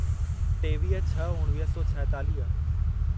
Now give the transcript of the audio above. टेवीह छह उणिवीह सौ छाएतालीह